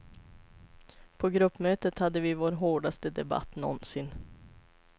På gruppmötet hade vi vår hårdaste debatt någonsin.